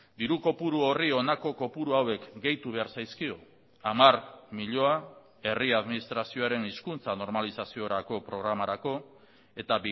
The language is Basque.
diru kopuru horri honako kopuru hauek gehitu behar zaizkio hamar milioi herri administrazioaren hizkuntza normalizaziorako programarako eta